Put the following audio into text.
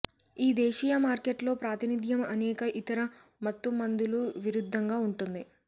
ఈ దేశీయ మార్కెట్లో ప్రాతినిధ్యం అనేక ఇతర మత్తుమందులు విరుద్ధంగా ఉంటుంది